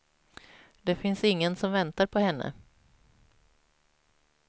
Det finns ingen som väntar på henne.